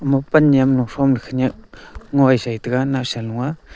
moppan niam longshom ta khaniak ngoi sai taiga nawsan hu aa.